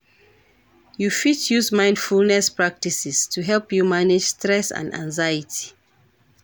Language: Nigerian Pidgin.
You fit use mindfulness practices to help you manage stress and anxiety.